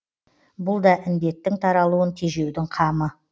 бұл да індеттің таралуын тежеудің қамы